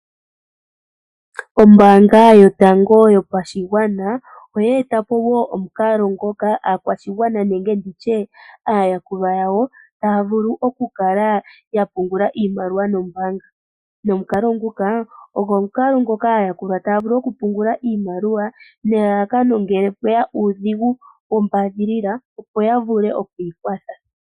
Ombaanga yotango yopashigwana oyetapo wo omukalo ngoka aakwashigwana nenge nditye aayakulwa yawo taya vulu okukala yapungula iimaliwa nombaanga, nomukalo nguka ogo aayakulwa taya vulu okupungula iimaliwa nelalakano ngele pweya uudhigu wombadhilila opo yavule okwiikwatha.